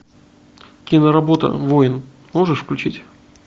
киноработа воин можешь включить